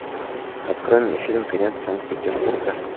открой мне фильм конец санкт петербурга